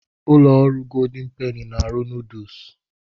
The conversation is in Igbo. Ụlọ ọrụ Goldin Peni na - arụ nuduls.